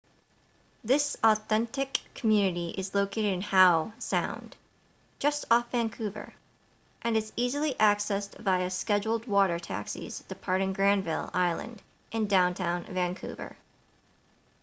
this authentic community is located in howe sound just off vancouver and is easily accessed via scheduled water taxis departing granville island in downtown vancouver